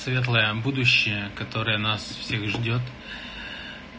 светлое будущее которое нас всех ждёт